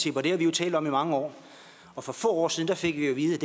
talt om i mange år og for få år siden fik vi at vide at